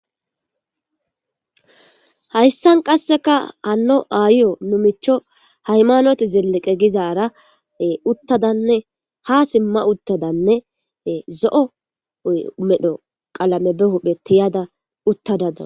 Hayssan qasseka hano aayo nu micho haymanoti zelliqe gizaara uttadanne ha simma uttadanne zo'o medho qalame be huphe tiyada uttadadao.